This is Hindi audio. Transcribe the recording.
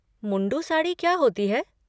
मुंडू साड़ी क्या होती है?